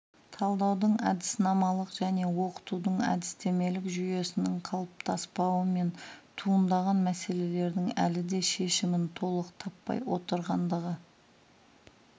талдаудың әдіснамалық және оқытудың әдістемелік жүйесінің қалыптаспауымен туындаған мәселелердің әлі де шешімін толық таппай отырғандығы